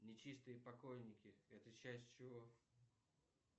нечистые покойники это часть чего